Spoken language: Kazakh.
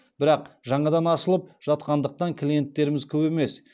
бірақ жаңадан ашылып жатқандықтан клиенттеріміз көп емес